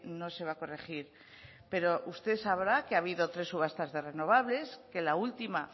no se va a corregir pero usted sabrá que ha habido tres subasta de renovables que la última